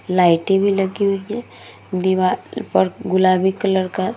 लाइटें भी लगी हुई हैं। दीवार पर गुलाबी कलर का --